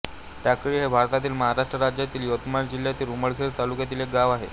टाकळी हे भारतातील महाराष्ट्र राज्यातील यवतमाळ जिल्ह्यातील उमरखेड तालुक्यातील एक गाव आहे